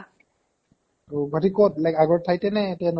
অ',গুৱাহাটীৰ ক'ত ? মানে আগৰ ঠাইতে নে এতিয়া নতুন ?